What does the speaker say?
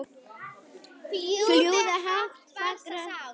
Fljúgðu hátt fagra sál.